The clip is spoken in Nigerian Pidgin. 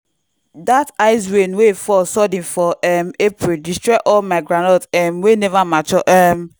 dat ice rain wey fall sudden for um april destroy all my groundnut um wey never mature. um